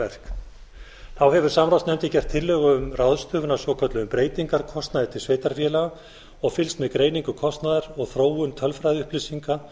verk þá hefur samráðsnefndin gert tillögu um ráðstöfun á svokölluðum breytingarkostnaði til sveitarfélaga og fylgst með greiningu kostnaðar og þróun tölfræðiupplýsinga